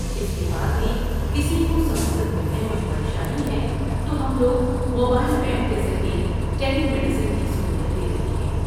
اس کے بعد بھی کسی کو سہولت ملنے میں پریشانی ہے تو ہم لوگ موبائل وین کے ذریعہ ٹیلی میڈیسن کی سہولت دے رہے ہیں ۔